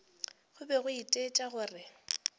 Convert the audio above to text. go be go itaetša gore